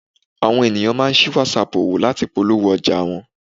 Àwọn ènìyàn máa ń sí Whatsapp òwò láti polówó ọjà wọn.